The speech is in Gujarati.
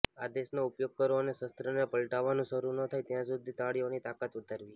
આદેશનો ઉપયોગ કરો અને શસ્ત્રને પલટાવવાનું શરૂ ન થાય ત્યાં સુધી તાળીઓની તાકાત વધારવી